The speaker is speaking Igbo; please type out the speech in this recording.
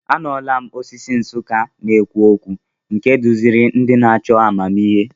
Anụla m osisi Nsukka na-ekwu okwu, nke duziri ndị na-achọ amamihe.